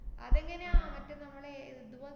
അതെങ്ങനെയാ മറ്റേ നമ്മടെ ഏർ ഇതുപോലത്തെ